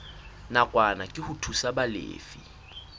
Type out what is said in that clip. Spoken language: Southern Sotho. nakwana ke ho thusa balefi